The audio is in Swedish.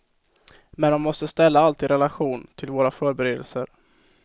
Men man måste ställa allt i relation till våra förberedelser.